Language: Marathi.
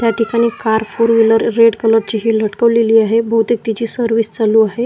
या ठिकाणी car four wheeler red colour ची ही लटकवलेली आहे बहुतेक तिची सर्विस चालू आहे.